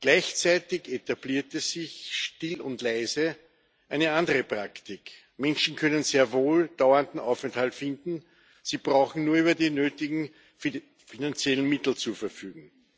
Gleichzeitig etablierte sich still und leise eine andere Praktik Menschen können sehr wohl dauernden Aufenthalt finden, Sie brauchen nur über die nötigen finanziellen Mittel zu verfügen.